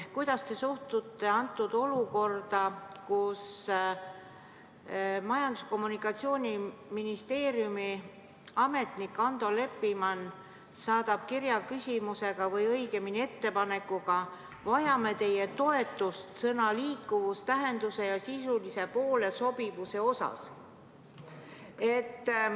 Kuidas te suhtute olukorda, et Majandus- ja Kommunikatsiooniministeeriumi ametnik Ando Leppiman saadab kirja küsimusega või õigemini ettepanekuga: vajame teie toetust sõna "liikuvus" tähenduse ja sisulise poole sobivuse osas?